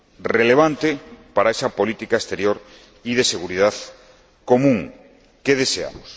relevante para esa política exterior y de seguridad común que deseamos.